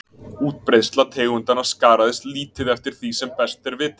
Útbreiðsla tegundanna skaraðist lítið eftir því sem best er vitað.